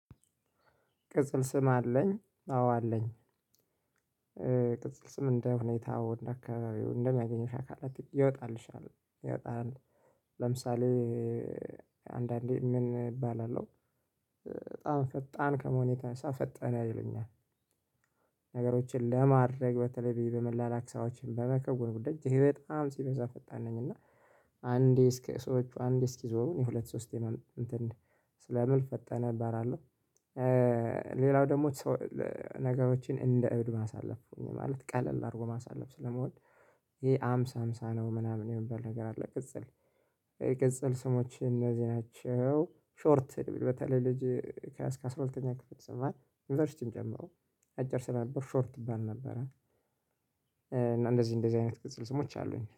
"ቅጽል ስም አለኝ?" አዎ አለኝ። ቅጽል ስም እንደ ሁኔታው እንደ አካባቢው እንደሚያገኘው አካባቢ ይወጣልሻል ይወጣል። ለምሳሌ አንዳንዴ ምን እባላለሁ በጣም ፈጣን ከመሆኔ የተነሳ ፈጠነ ይሉኛል። ነገሮችን ለማድረግ በተለይ በመላላክ ሰራዎችን በመከውን ጉዳይ እጅግ በጣም ሲበዛ ፈጣን ነኝ እና አንዴ እስከ ሰዎች አንዴ እስኪዞሩ እኔ ሁለት ሶስቴ እንትን ስለምል ፈጠነ እባላለሁ። ሌላው ደግሞ ነገሮችን እንደ እብድ ማሳለፍ ማለት ቀለል አድርጎ ማሳለፍ ስለምወድ ሃምሳ ሃምሳ ነው ምናምን የሚባል ነገር አለ ቅጽል የቅጽል ስሞች እነዚህ ናቸው ሾርት በተለይ ልጅ ከአስራ ሁለተኛ ክፍል ስማር ዩኒቨርሲቲም ጨምሮ አጭር ስለነበርኩ ሾርት እባል ነበረ። እንደዚህ እንደዚህ አይነት ቅጽል ስሞች አሉኝ።